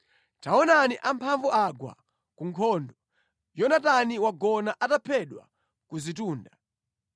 “Taonani amphamvu agwa ku nkhondo! Yonatani wagona ataphedwa ku zitunda.